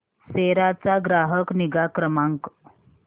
सेरा चा ग्राहक निगा क्रमांक